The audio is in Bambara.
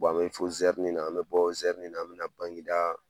an be fo Zɛrini na, an be bɔ Zɛrini na an bɛna Bangedaa